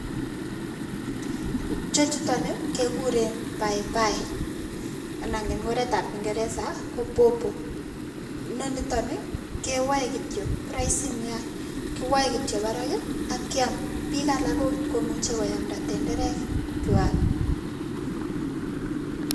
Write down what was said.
chechuton nii kekuren bai bai anan en oret ab ingeresa ko borbor noniton nii kewoe kityok roisi nia, kowoe kityok baraki ak kiam bik alak okot komucho koamda tenderek kwak.